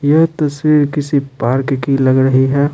ये तस्वीर किसी पार्क की लग रही है।